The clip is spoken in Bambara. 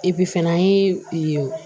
fana an ye